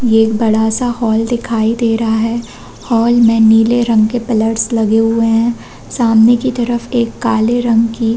ये एक बड़ा सा हॉल दिखाई दे रहा है हॉल मे नीले रंग की पिलर्स लगे हुए है सामने की तरफ काले रंग की--